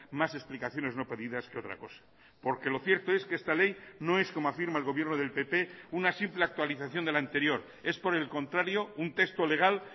más explicaciones no pedidas que otra cosa porque lo cierto es que esta ley no es como afirma el gobierno del pp una simple actualización de la anterior es por el contrario un texto legal